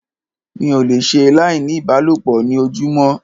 Mi ò le ṣe láì ní ìbálòpọ̀ ní ojúmọ́.